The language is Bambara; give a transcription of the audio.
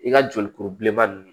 I ka joli kuru bilenma nunnu